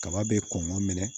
Kaba bɛ kɔn ka minɛ